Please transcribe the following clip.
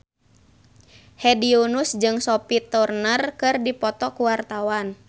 Hedi Yunus jeung Sophie Turner keur dipoto ku wartawan